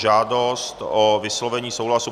Žádost o vyslovení souhlasu